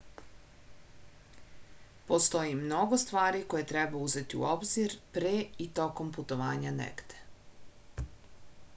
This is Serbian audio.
postoji mnogo stvari koje treba uzeti u obzir pre i tokom putovanja negde